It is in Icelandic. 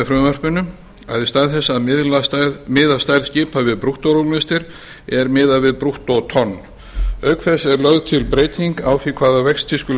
frumvarpinu að í stað þess að miða stærð skipa við brúttórúmlestir er miðað við brúttótonn auk þess er lögð til breyting á því hvaða vexti skuli